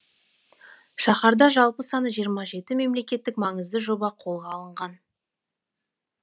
шаһарда жалпы саны жиырма жеті мемлекеттік маңызды жоба қолға алынған